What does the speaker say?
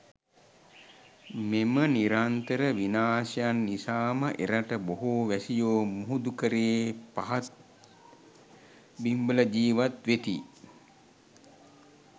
මෙම නිරන්තර විනාශයන් නිසාම එරට බොහෝ වැසියෝ මුහුදුකරයේ පහත් බිම්වල ජීවත් වෙති.